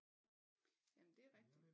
Jamen det er rigtigt